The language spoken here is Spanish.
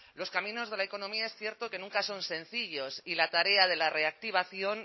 los caminos de la economía es cierto que nunca son sencillos y la tarea de la reactivación